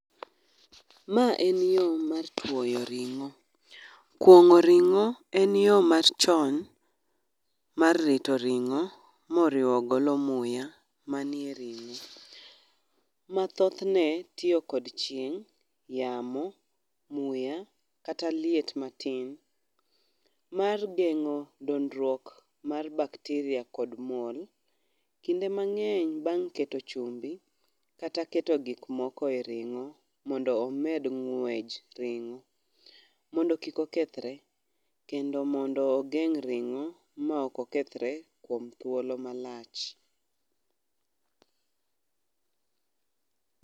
Ma en yoo mar twoyo ring'o kwong'o ring'o en yoo machon en yoo machon mar rito ringo moriwo golo muya man e ring'o ma thothne tiyo kod chieng, yamo, muya kata liet matin mar gengo dondruok mar bacteria kod kinde mang'eny bang' keto chumbi kata keto gik moko e ring'o mondo omed ng'wej ring'o mondo kik okethre mondo ogeng' ringo ma ok okethre kuom thuolo malach.